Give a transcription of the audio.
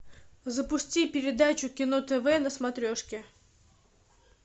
запусти передачу кино тв на смотрешке